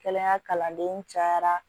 Kɛnɛya kalanden cayara